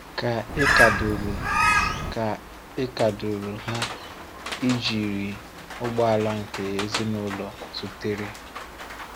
Kà ị́ kàdụ́rù Kà ị́ kàdụ́rù ha ị jiri ụgbọ̀ala nke ezínụlọ zùtèrè.